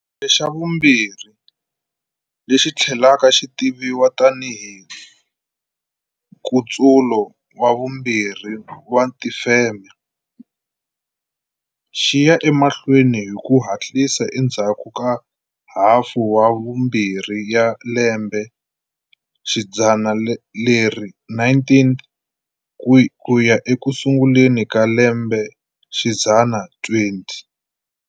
Xa vumbirhi, lexi tlhelaka xi tiviwa tanihi Nkutsulo wa Vumbirhi wa Tifeme, xi ya emahlweni hi ku hatlisa endzhaku ka hafu ya vumbirhi ya lembexidzana leri 19th ku ya eku sunguleni ka lembexidzana 20.